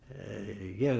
ég